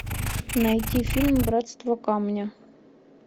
найти фильм братство камня